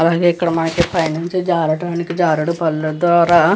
అలాగే మనకి ఇక్కడ పై నుండి జారడానికి జారుడుబల్ల --